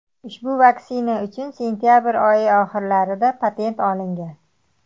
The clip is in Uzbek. Ushbu vaksina uchun sentabr oyi oxirlarida patent olingan .